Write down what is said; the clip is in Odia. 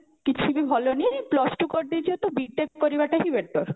କିଛି ବି ଭଲ ନାଇଁ plus two କରିଦେଇଛ ତ B.TECH କରିବାଟା ହିଁ better